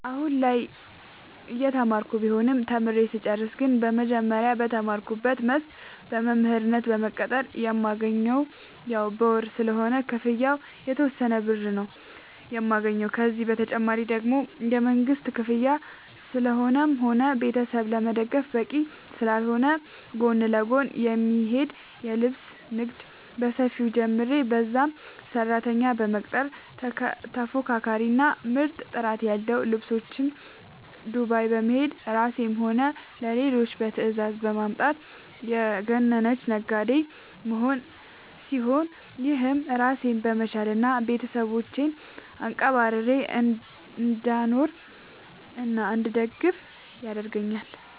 አሁላይ እየተማርኩ ቢሆንም ተምሬ ስጨርስ ግን መጀመሪያ በተማርኩበት መስክ በመምህርነት በመቀጠር የማገኘውም ያው በወር ስለሆነ ክፍያው የተወሰነ ብር ነው የማገኘው፤ ከዚህ ተጨማሪ ደግሞ የመንግስት ክፍያ ለራስም ሆነ ቤተሰብ ለመደገፍ በቂ ስላልሆነ ጎን ለጎን የሚሄድ የልብስ ንግድ በሰፊው ጀምሬ በዛም ሰራተኛ በመቅጠር ተፎካካሪ እና ምርጥ ጥራት ያለው ልብሶች ዱባይ በመሄድ ለራሴም ሆነ ለሌሎች በትዛዝ በማምጣት የገነነች ነጋዴ መሆን ሲሆን፤ ይህም ራሴን በመቻል እና ቤተሰቦቼን አንቀባርሬ እንዳኖርናእንድደግፍ ያረገአኛል።